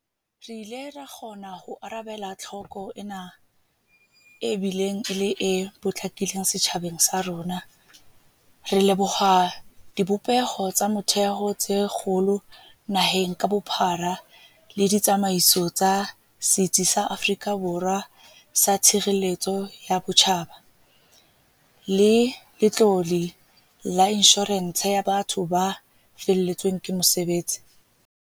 Re ile ra kgona ho arabela tlhoko ena e kgolo e bileng e le e potlakileng setjhabeng sa rona, re leboha dibopeho tsa motheo tse kgolo naheng ka bophara le ditsamaiso tsa Setsi sa Afrika Borwa sa Tshireletso ya Botjhaba le Letlole la Insho-rense ya Batho ba Feletsweng ke Mosebetsi.